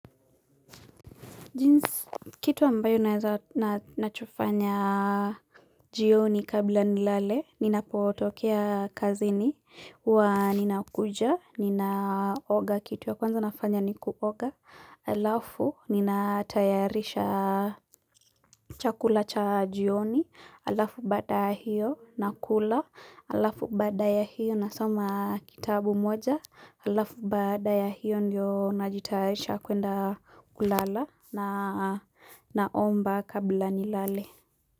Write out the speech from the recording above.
Jinsi, kitu ambayo nachofanya jioni kabla nilale, nina potokea kazini huwa ninakuja, ninaoga kitu ya kwanza nafanya nikuoga, alafu nina tayarisha chakula cha jioni, alafu baada ya hiyo nakula, alafu baada ya hiyo nasoma kitabu moja, alafu baada ya hiyo ndio najitayarisha kwenda kulala naomba kabla nilale.